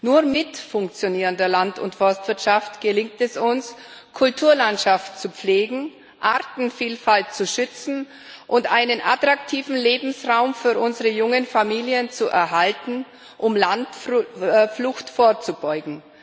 Nur mit funktionierender Land und Forstwirtschaft gelingt es uns, Kulturlandschaft zu pflegen, Artenvielfalt zu schützen und einen attraktiven Lebensraum für unsere jungen Familien zu erhalten, um Landflucht vorzubeugen.